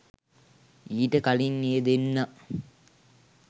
ඊට කලින් ඒ දෙන්නා